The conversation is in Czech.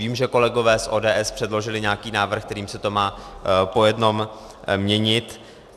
Vím, že kolegové z ODS předložili nějaký návrh, kterým se to má po jednom měnit.